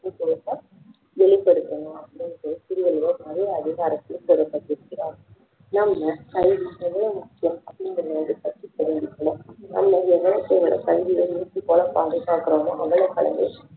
விழித்திருக்கணும் அப்படின்னு திருவள்ளுவர் நிறைய அதிகாரத்தில் நம்ம கல்வி எவ்வளவு முக்கியம் அப்படிங்கிறத பத்தி தெரிஞ்சுக்கணும் நம்ம எவ்வளவுக்கு எவ்வளவு கல்வியை மூச்சு போல பாதுகாக்கிறமோ அவ்வளவுக்கு அவ்வளவு